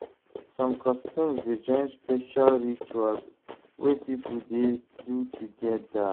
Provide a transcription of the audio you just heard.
Som customs dey join special rituals wey pipo dey do togeda.